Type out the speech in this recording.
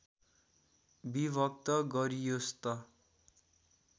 विभक्त गरियोस् त